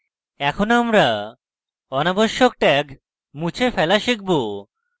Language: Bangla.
এখন আমরা অনাবশ্যক tag মুছে ফেলা শিখব